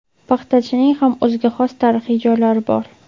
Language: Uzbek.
Paxtachining ham o‘ziga xos tarixiy joylari bor.